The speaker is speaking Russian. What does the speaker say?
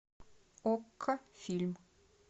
окко фильм